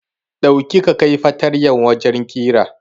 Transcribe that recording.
Dauki ka kai fatanyar wajen ƙira